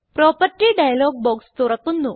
property dialog box തുറക്കുന്നു